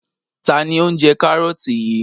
Ta ni ó ń jẹ kárọ́tì yìí?